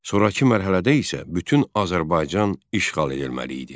Sonrakı mərhələdə isə bütün Azərbaycan işğal edilməli idi.